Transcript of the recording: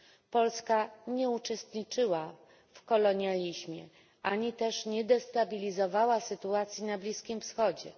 Polska nie uczestniczyła w kolonializmie ani też nie destabilizowała sytuacji na Bliskim Wschodzie.